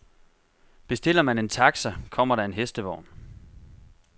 Bestiller man en taxa, kommer der en hestevogn.